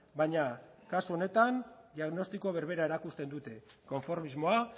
baina kasu honetan diagnostiko berbera erakusten dute konformismoa